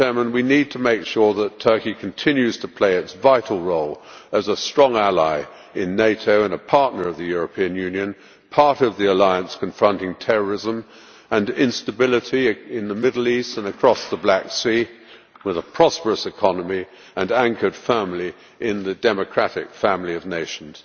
We need to make sure that Turkey continues to play its vital role as a strong ally in NATO and a partner of the European Union part of the alliance confronting terrorism and instability in the Middle East and across the Black Sea, with a prosperous economy and anchored firmly in the democratic family of nations.